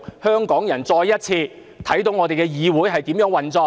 香港人再一次看到我們的議會是如何運作。